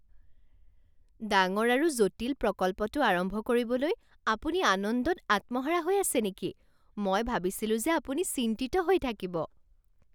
ডাঙৰ আৰু জটিল প্ৰকল্পটো আৰম্ভ কৰিবলৈ আপুনি আনন্দত আত্মহাৰা হৈ আছে নেকি? মই ভাবিছিলো যে আপুনি চিন্তিত হৈ থাকিব।